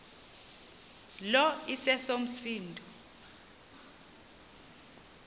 lo iseso msindo